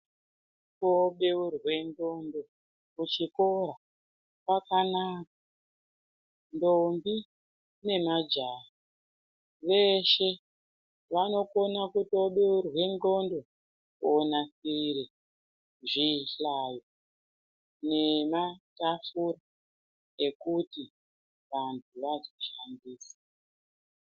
Kobeurwe ndhlondo kuchikora kwakanaka, ndombi nemajaha veshe vanokone kutobeurwe ndhondo kuti vanasire zvinhlayo nematapfurs zvekuti vanhu vazoshandisa